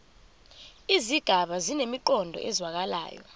izigaba zinemiqondo ezwakalayo